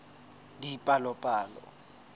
dipalopalo